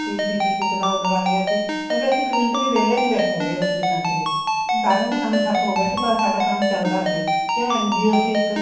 PP kit ਦਾ order ਆ ਗਿਆ ਸੀ ਕਿਉਂਕਿ ਅਸੀਂ ਇੱਕ ਮਿੰਟ ਵੀ ਵਹਿਲੇ ਨਹੀਂ ਸੀ ਬੈਠੇ ਹੈਗੇ ਉਸ ਦਿਨਾਂ ਚ ਵੀ ਦਾ ਕੰਮ ਠੱਪ ਹੋ ਗਿਆ ਸਾਡਾ ਚੱਲਦਾ ਸੀ ਕਿਉਂ NGO ਸੀ ਇੱਕ